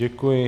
Děkuji.